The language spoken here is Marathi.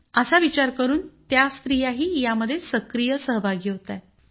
असा विचार करून त्या स्त्रियाही यामध्ये सक्रिय सहभागी होतायत